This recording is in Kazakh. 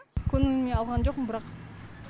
көңіліме алған жоқпын бірақ